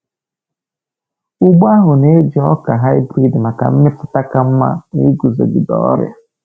Ugbo ahụ na-eji ọka hybrid maka mmịpụta ka mma na iguzogide ọrịa.